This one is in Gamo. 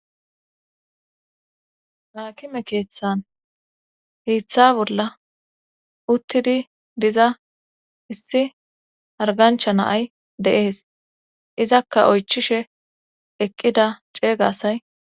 naakime keeththan hiiththa bolla uttidi diza issi hargancha naay deees izakka oychishe eqqida ceeyga say